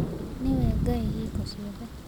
Nĩwe Ngai hingo ciothe.